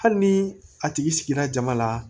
Hali ni a tigi sigira jama la